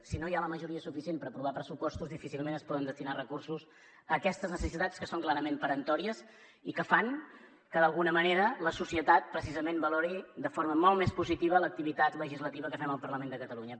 si no hi ha la majoria suficient per aprovar pressupostos difícilment es poden destinar recursos a aquestes necessitats que són clarament peremptòries i que fan que d’alguna manera la societat precisament valori de forma molt més positiva l’activitat legislativa que fem al parlament de catalunya